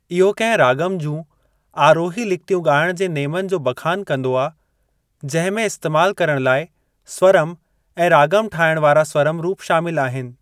इहो कहिं राॻम जूं आरोही लिखितियूं ॻाइण जे नेमनि जो बखानु कंदो आ, जंहिं में इस्‍तेमाल करण लाए स्वरम ऐं राॻम ठाहिण वारा स्वरम रूप शामिल आहिनि।